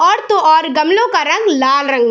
और तो और गमलो का रंग लाल रंग --